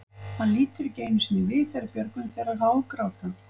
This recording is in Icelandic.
Hann lítur ekki einu sinni við þegar Björgvin fer að hágráta.